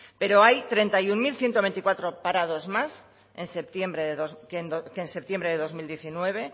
pero hay treinta y uno mil ciento veinticuatro parados más que en septiembre de dos mil diecinueve